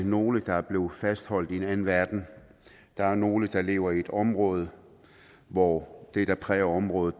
nogle der er blevet fastholdt i en anden verden der er nogle der lever i et område hvor det der præger området